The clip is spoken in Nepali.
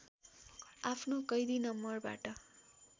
आफ्नो कैदी नम्बरबाट